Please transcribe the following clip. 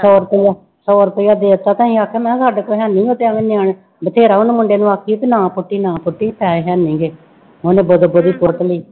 ਸੌ ਰੁਪਇਆ ਸੌ ਰੁਪਇਆ ਦੇ ਦਿੱਤਾ ਤੇ ਅਸੀਂ ਆਖਿਆ ਮੈਂ ਕਿਹਾ ਸਾਡੇ ਕੋਲ ਹੈ ਨੀ, ਉਹ ਤੇ ਅੇਵੇਂ ਨਿਆਣੇ ਬਥੇਰਾ ਉਹਨੂੰ ਮੁੰਡੇ ਨੂੰ ਆਖਦੀ ਕਿ ਨਾ ਪੁੱਟੀ ਨਾ ਪੁੱਟੀ ਪੈਸੇ ਹੈਨੀ ਗੇ, ਉਹਨੇ ਬਦੋ ਬਦੀ ਪੁੱਟ ਲਈ।